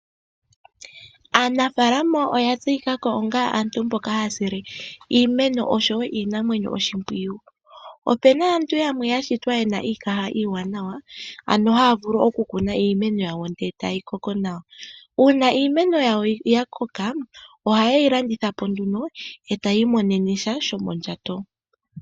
Aanafalama oya tseyika ko onga aantu mboka haya sile iimeno oshowo iinamwenyo oshimpwiyu. Opu na aantu yamwe yashitwa yena iikaha iiwananawa, ano haya vulu okukuna iimeno yawo e tayi koko nawa. Uuna iimeno yawo ya koka, oha yeyi landitha po nduno, e tayii monene sha shomondjato.